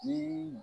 Ni